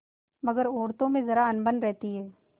मगर औरतों में जरा अनबन रहती है